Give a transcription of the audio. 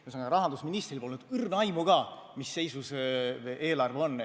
Ühesõnaga, rahandusministril polnud õrna aimu ka, mis seisus eelarve on.